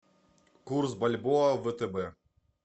курс бальбоа в втб